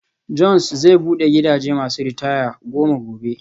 John's zai bude gidajen masu ritaya goma gobe.